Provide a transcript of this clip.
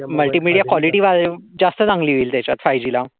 Multimedia quality जास्त चांगली होईल त्याच्या. फायुजी ला